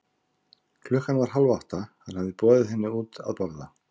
Klukkan var hálf átta, hann hafði boðið henni henni út að borða.